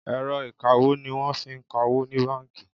Ẹ̀rọ ìkawó ní wọ́n fí ń ka owó ní bánkì.